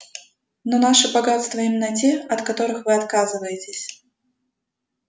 но наши богатства именно те от которых вы отказываетесь